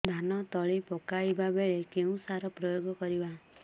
ଧାନ ତଳି ପକାଇବା ବେଳେ କେଉଁ ସାର ପ୍ରୟୋଗ କରିବା